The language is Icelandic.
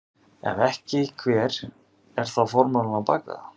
Ef ekki hver er þá formúlan á bak við það?